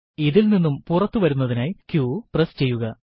ഇതിൽനിന്നും പുറത്തു വരുന്നതിനായി q പ്രസ് ചെയ്യുക